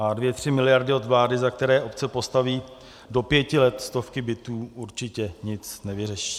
A dvě tři miliardy od vlády, za které obce postaví do pěti let stovky bytů, určitě nic nevyřeší.